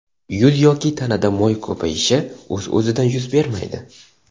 Yuz yoki tanada mo‘y ko‘payishi o‘z-o‘zidan yuz bermaydi.